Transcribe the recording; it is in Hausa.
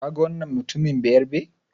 Kaga wannan mutumin Bayarabe?